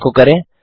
एको करें